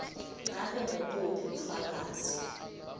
ngabe ngubuphi bufakazi